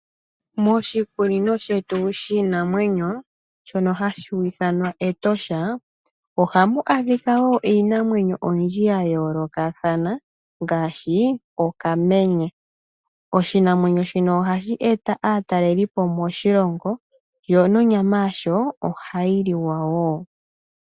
Moshikunino shetu shiinamwenyo shono hashi ithanwa Etosha ohamu adhika wo iinamwenyo oyindji ya yoolokathana ngaashi okamenye. Oshinamwenyo shino ohashi e ta aataleli po moshilongo, yo nonyama yasho ohayi liwa wo.